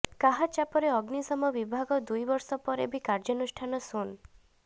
କାହା ଚାପରେ ଅଗ୍ନିଶମ ବିଭାଗଦୁଇ ବର୍ଷ ପରେ ବି କାର୍ଯ୍ୟାନୁଷ୍ଠାନ ଶୂନ